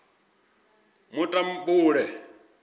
mutambule